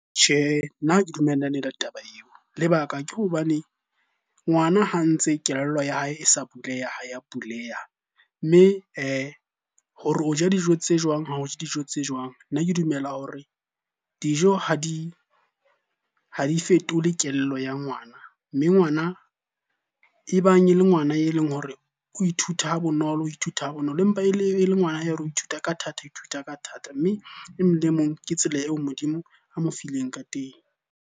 Tjhehe, nna ha ke dumellane le taba eo. Lebaka ke hobane ngwana ha ntse kelello ya hae e sa buleha, ha ya buleha. Mme hore o ja dijo tse jwang, ha o je dijo tse jwang. Nna ke dumela hore dijo ha di fetole kelello ya ngwana. Mme ngwana e bang e le ngwana e leng hore o ithuta ha bonolo, o ithuta ha bonolo empa e le ngwana ya ithuta ka thata, o ithuta ka thata. Mme emong le emong ke tsela eo Modimo a mo fileng ka teng.